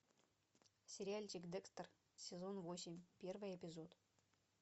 сериальчик декстер сезон восемь первый эпизод